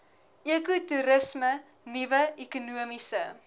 ekotoerisme nuwe ekonomiese